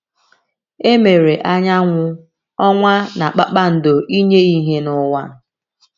E mere anyanwụ, ọnwa, na kpakpando ‘ inye ìhè n’ụwa. ’